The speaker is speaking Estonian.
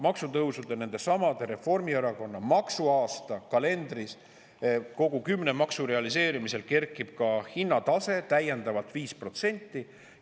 Maksutõusude, kõigi kümne Reformierakonna maksuaasta kalendris oleva maksu realiseerimisel kerkib ka hinnatase täiendavalt 5%.